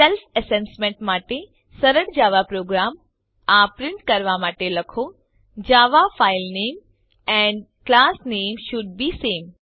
self assessment માટે સરળ Java program આ પ્રિન્ટ કરવા માટે લખો જાવા ફાઇલ નામે એન્ડ ક્લાસ નામે શોલ્ડ બે સામે